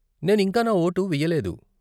నేను ఇంకా నా ఓటు వెయ్యలేదు.